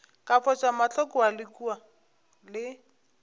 ka foša mahlo kua le